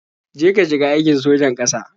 Je ka shiga aikin sojan ƙasa.